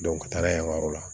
ka taga yen yɔrɔ la